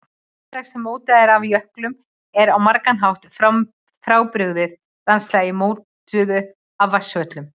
Landslag sem mótað er af jöklum er á margan hátt frábrugðið landslagi mótuðu af vatnsföllum.